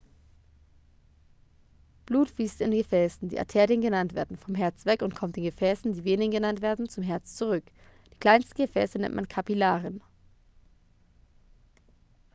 blut fließt in gefäßen die arterien genannt werden vom herz weg und kommt in gefäßen die venen genannt werden zum herz zurück die kleinsten gefäße nennt man kapillaren